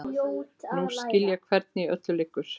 Nú skil ég hvernig í öllu liggur.